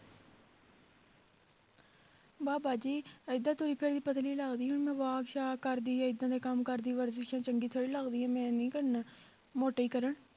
ਵਾਹ ਬਾਜੀ ਏਦਾਂ ਤੁਰੀ ਫਿਰੀ ਪਤਲੀ ਲੱਗਦੀ ਹਾਂ ਹੁਣ ਮੈਂ walk ਸਾਕ ਕਰਦੀ ਜਾਂ ਏਦਾਂ ਦੇ ਕੰਮ ਕਰਦੀ ਵਰਜਿਸਾਂ ਚੰਗੀ ਥੋੜ੍ਹੀ ਲੱਗਦੀ ਹਾਂ, ਮੈਂ ਨਹੀਂ ਕਰਨਾ ਮੋਟੇ ਹੀ ਕਰਨ